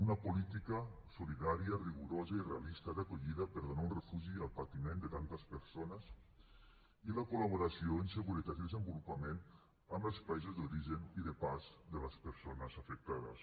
una política solidària rigorosa i realista d’acollida per donar un refugi al patiment de tantes persones i la col·laboració en seguretat i desenvolupament amb els països d’origen i de pas de les persones afectades